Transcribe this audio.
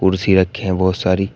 कुर्सी रखे हैं बहुत सारी।